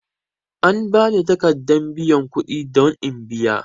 An bani takaddan biyan kudi don in biya.